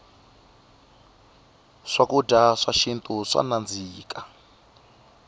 swakudya swa xintu swa nandzika